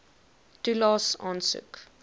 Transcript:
toelaes aansoek